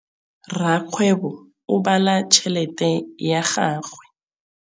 Rakgwêbô o bala tšheletê ya gagwe.